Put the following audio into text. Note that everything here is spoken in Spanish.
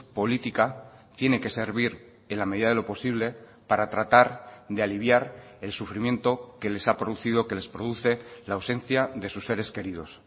política tiene que servir en la medida de lo posible para tratar de aliviar el sufrimiento que les ha producido que les produce la ausencia de sus seres queridos